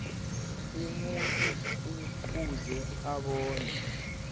umuntu kufuze bona